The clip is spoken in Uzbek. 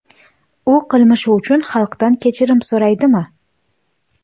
U qilmishi uchun xalqdan kechirim so‘raydimi?